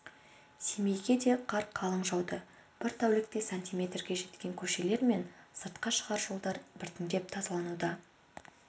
семейге де қар қалың жауды бір тәулікте сантиметрге жеткен көшелер мен сыртқа шығар жолдар біртіндеп тазалануда